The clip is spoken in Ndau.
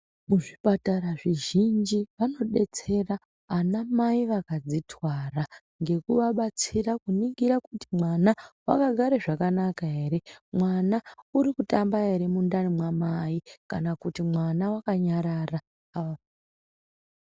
Kuzvipatara zvizhinji vanodetsera ana mai vakazvitwara ngekuvabatsira kuningira kuti mwana akagare zvakanaka ere mwana urikutamba ere mundani mwamai kana kuti mwana wakanyarara.